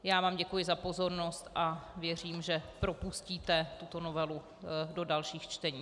Já vám děkuji za pozornost a věřím, že propustíte tuto novelu do dalších čtení.